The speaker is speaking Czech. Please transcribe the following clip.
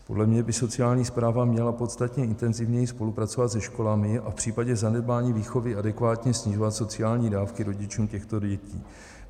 Podle mě by sociální správa měla podstatně intenzivněji spolupracovat se školami a v případě zanedbání výchovy adekvátně snižovat sociální dávky rodičům těchto dětí.